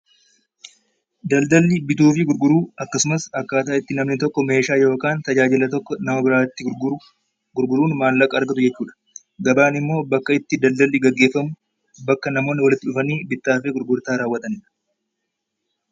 Daldalli bituu fi gurguruu akkasumas akkaataa ittiin bituu fi gurguruu oomisha yookaan meeshaa nama biraatti gurguruun maallaqa argatu jechuudha. Gabaan immoo bakka itti daldalli gaggeeffamu bakka namoonni walitti dhufanii bittaa fi gurgurtaa raawwatan jechuudha.